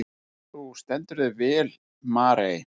Þú stendur þig vel, Marey!